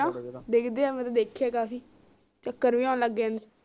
ਡਿਗਦੇ ਆ ਮੈਨੂੰ ਦੇਖੇ ਕਾਫੀ ਚੱਕਰ ਵੀ ਆਉਣ ਲਗ